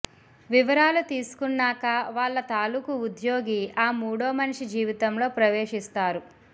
వివరాలు తీసుకున్నాక వాళ్ల తాలూకు ఉద్యోగి ఆ మూడోమనిషి జీవితంలో ప్రవేశిస్తారు